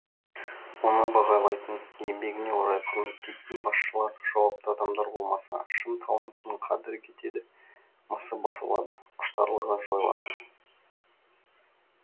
оны бағалайтын еңбегіне орай құрметтейтін басшылар жауапты адамдар болмаса шын таланттың қадірі кетеді мысы басылады құштарлығы жойылады